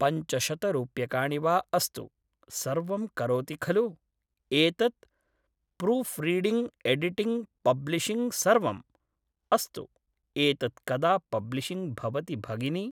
पञ्चशतरूप्यकाणि वा अस्तु सर्वं करोति खलु एतत् प्रूफ्रिडिङ्ग् एडिटिङ्ग् पब्लिशिङ्ग् सर्वम्? अस्तु एतत् कदा पब्लिशिङ्ग् भवति भगिनि?